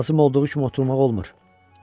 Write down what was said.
Lazım olduğu kimi oturmaq olmur.